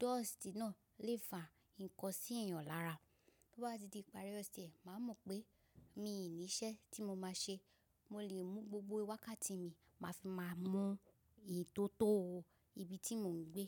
dust náà lè fa ǹkan sí èèyàn lára. Tó bá ti di ìparí ọ̀sẹ̀, màá mọ̀ pé mi ò ní iṣẹ́ tí mo máa ṣe. Mo lè mu gbogbo wákàtí mi, màá fi máa mú ìtótó ibi tí mò ń gbé.